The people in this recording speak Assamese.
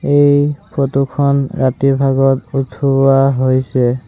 এই ফটো খন ৰাতিৰ ভাগত উঠোৱা হৈছে।